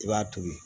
I b'a tobi